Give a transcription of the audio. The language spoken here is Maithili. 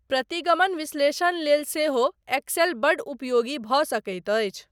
प्रतिगमन विश्लेषण लेल सेहो एक्सेल बड्ड उपयोगी भऽ सकैत अछि।